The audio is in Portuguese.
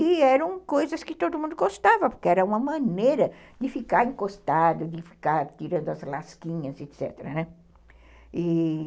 E eram coisas que todo mundo gostava, porque era uma maneira de ficar encostado, de ficar tirando as lasquinhas, etc, né, e...